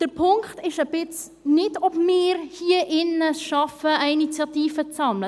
Der Punkt ist nicht, ob wir es hier drin schaffen, Unterschriften für eine Initiative zu sammeln.